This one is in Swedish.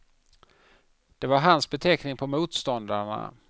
Det var hans beteckning på motståndarna.